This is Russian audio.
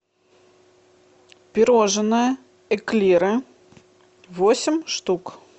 пирожное эклеры восемь штук